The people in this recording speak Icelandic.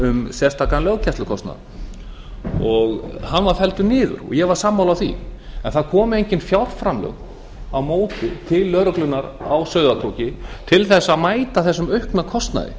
um sérstakan löggæslukostnað hann var felldur niður og ég var sammála því en það komu engin fjárframlög á móti til lögreglunnar á sauðárkróki til þess að mæta þessum aukna kostnaði